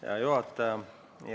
Hea juhataja!